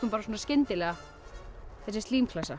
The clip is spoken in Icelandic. svona skyndilega þessi